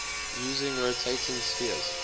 using rotating spheres